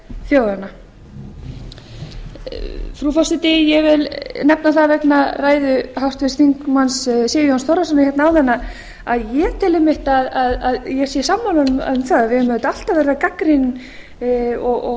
þjóðanna frú forseti ég vil nefna það vegna ræðu háttvirts þingmanns sigurjóns þórðarsonar hérna áðan að ég tel einmitt að ég sé sammála honum um það að við eigum auðvitað alltaf að vera gagnrýnin og